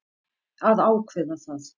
Að ákveða það.